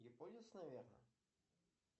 японец наверное